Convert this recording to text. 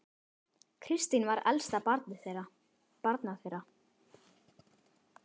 Kristín var elst barna þeirra.